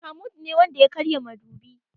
Mahmoud ne Wanda ya karya madubi.